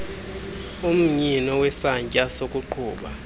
umnyino wesantya sokuqhuba